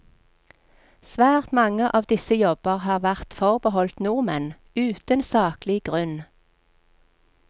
Svært mange av disse jobber har vært forbeholdt nordmenn, uten saklig grunn.